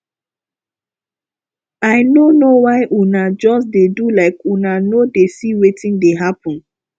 i no know why una just dey do like una no dey see wetin dey happen